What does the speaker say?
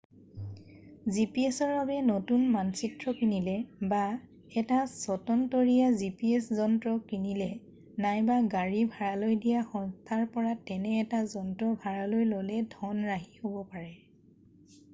gps-ৰ বাবে নতুন মানচিত্ৰ কিনিলে বা এটা স্বতন্তৰীয়া gps যন্ত্ৰ কিনিলে নাইবা গাড়ী ভাড়ালৈ দিয়া সংস্থাৰ পৰা তেনে এটা যন্ত্ৰ ভাড়ালৈ ল’লে ধন ৰাহি হ’ব পাৰে।